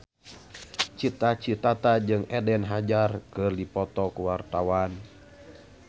Cita Citata jeung Eden Hazard keur dipoto ku wartawan